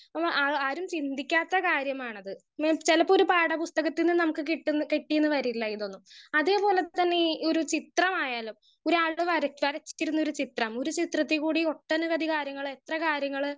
speaker 1 ആ ആരും ചിന്തിക്കാത്ത കാര്യമാണത് ന്ന് ചെലപ്പൊരു പാഠപുസ്തകത്തിന്ന് നമ്മുക്ക് കിട്ടുന്ന കിട്ടീന്ന് വരില്ലേ ഇതൊന്നും അതേപോലെ തന്നെ ഈ ഒരു ചിത്രം ആയാലും ഒരാൾടെ വരാച്ചാൽ ഒരു ചിത്രം ഒരു ചിത്രതികൂടി ഒട്ടനവധി കാര്യങ്ങൾ എത്ര കാര്യങ്ങൾ